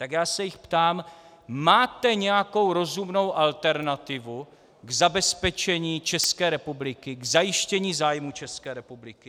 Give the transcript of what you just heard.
Tak já se jich ptám: Máte nějakou rozumnou alternativu k zabezpečení České republiky, k zajištění zájmů České republiky?